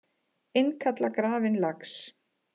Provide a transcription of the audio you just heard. Innkalla grafinn lax